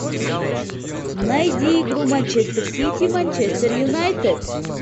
найди игру манчестер сити манчестер юнайтед